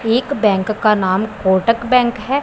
एक बैंक का नाम कोटक बैंक हैं।